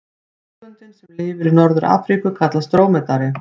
Tegundin sem lifir í Norður-Afríku kallast drómedari.